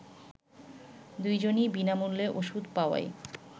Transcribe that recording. দুজনই বিনামূল্যে ওষুধ পাওয়ায়